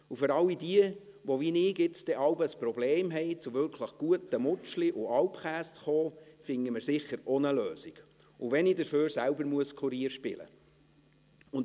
Für all jene, die wie ich jetzt dann ein Problem haben werden, zu wirklich guten «Mutschli» und Alpkäse zu kommen, finden wir sicher auch eine Lösung, und wenn ich dafür selber Kurier spielen muss.